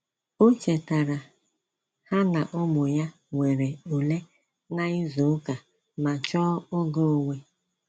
O chetara ha na-ụmụ ya nwere ule na ịzụ ụka ma chọọ oge onwe